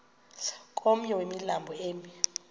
komnye wemilambo emi